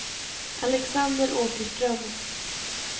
Alexander Åkerström